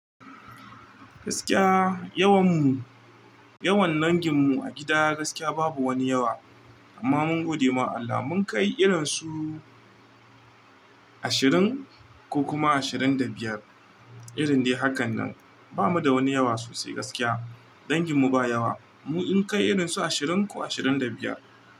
Gaskiya, yawan mu, yawan dangin mu a gida gaskiya babu wani yawa. Amma mun gode ma Allah, mun kai irin su ashirin ko kuma ashirin da biyar. Irin dai hakan nan. Ba mu da wani yawa sosai gaskiya. Dangin mu ba yawa. Mun kai irin su ashirin ko ashirin da biyar.